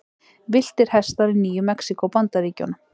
Villtir hestar í Nýju-Mexíkó, Bandaríkjunum.